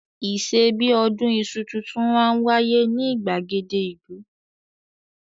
Ìṣe bí i ọdún iṣu tuntun máa ń wáyé ní ìgbàgede ìlú.